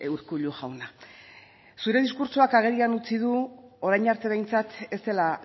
urkullu jauna zure diskurtsoak agerian utzi du orain arte behintzat ez dela